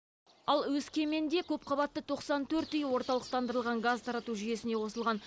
ал өскеменде көпқабатты тоқсан төрт үй орталықтандырылған газ тарату жүйесіне қосылған